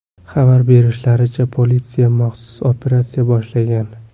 Xabar berishlaricha, politsiya maxsus operatsiya boshlagan.